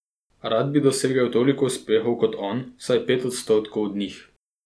Rad bi dosegel toliko uspehov kot on, vsaj pet odstotkov od njih.